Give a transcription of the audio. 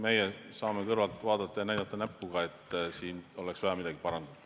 Meie saame kõrvalt vaadata ja näpuga näidata, et siin oleks vaja midagi parandada.